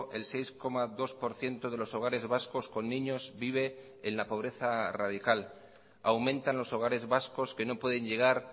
el seis coma dos por ciento de los hogares vascos con niños vive en la pobreza radical aumentan los hogares vascos que no pueden llegar